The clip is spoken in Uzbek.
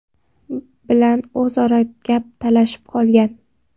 bilan o‘zaro gap talashib qolgan.